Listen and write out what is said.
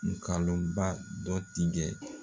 Ngalon ba dɔ tigɛ.